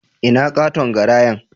Ina katon garayan?